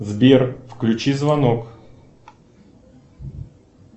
сбер включи звонок